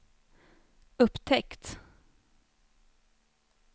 upptäckt